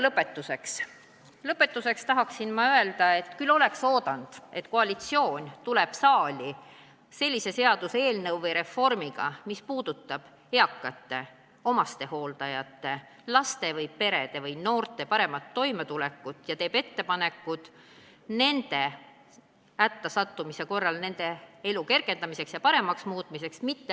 Lõpetuseks tahan öelda, et me ootasime väga, et koalitsioon tuleb saali sellise reformiga, mis puudutab eakate, omastehooldajate, laste või perede paremat toimetulekut, ja teeb ettepanekud nende hätta sattumise korral nende elu kergendamiseks ja paremaks muutmiseks.